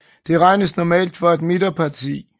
Det regnes normalt for et midterparti